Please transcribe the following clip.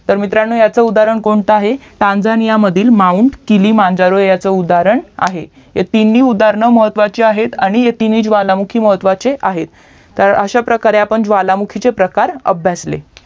तर मित्रांनो ह्याचा उदाहरण कोणता आहे तंझंनियातील MOUNT किलीमंजारो ह्याचा उदाहरण आहे ही तिन्ही उदाहरणं महत्वाचे आहेत आणि ही तिन्ही ज्वालामुखी महत्वाचे आहेत तर अश्या प्रकारे आपण ज्वालामुखीचे प्रकार अभ्यासले